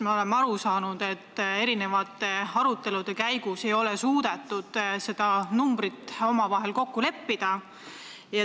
Me oleme aru saanud, et erinevate arutelude käigus ei ole suudetud seda numbrit omavahel kokku leppida.